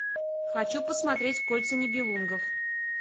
хочу посмотреть кольца нибелунгов